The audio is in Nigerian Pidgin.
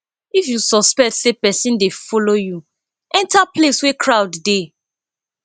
if you suspect say pesin dey follow you enter place wey crowd dey